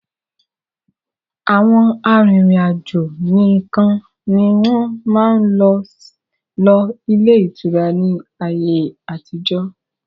Àwọn arìnrìn-àjò nìkan ni wọn máa ń lò ilé ìtura ni ayé àtijọ́